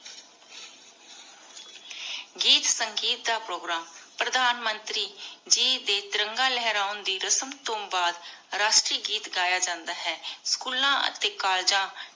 ਗੀਤ ਸੰਗੀਤ ਦਾ ਪ੍ਰੋਗਰਾਮ ਪਰਧਾਨ ਮੰਤਰੀ ਜੀ ਦੇ ਤਿਰੰਗਾ ਲੇਹ੍ਰਾਂ ਦੇ ਰਸਮ ਤੋ ਬਾਦ ਰਾਸ਼ਤੀ ਗੀਤ ਗਯਾ ਜਾਂਦਾ ਹੈ ਸ੍ਚੂਲਾਂ ਟੀ ਕੋਲ੍ਲੇਗਾਂ